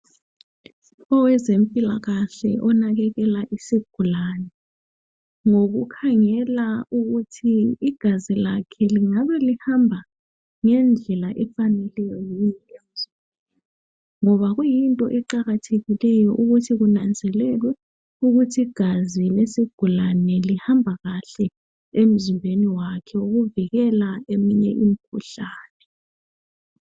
Owezempilakahle onakekela isigulane ngoku khangela ukuthi igazi lakhe lingabe lihamba ngendlela efaneleyo yini, ngoba kuyinto eqakathekileyo ukuthi kunanzelelwe ukuthi igazi lesigulane lihamba kahle emzimbeni wakhe ukuvikela eminye imikhuhlane.